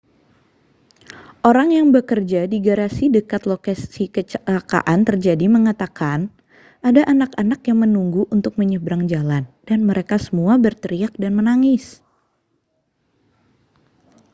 orang yang bekerja di garasi dekat lokasi kecelakaan terjadi mengatakan ada anak-anak yang menunggu untuk menyeberang jalan dan mereka semua berteriak dan menangis